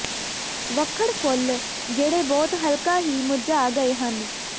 ਵਖੜ ਫੁੱਲ ਜਿਹੜੇ ਬਹੁਤ ਹਲਕਾ ਹੀ ਮੁਰਝਾ ਗਏ ਹਨ